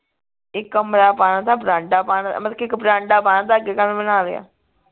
ਇਕ ਕਮਰਾ ਪਾਣਾ ਥਾ ਬਰਾਂਡਾ ਪਾਣਾ ਮਤਲਬ ਕਿ ਇਕ ਬਰਾਂਡਾ ਪਾਣਾ ਥਾ ਅੱਗੇ ਕਾਹਨੂੰ ਬਣਾ ਲਿਆ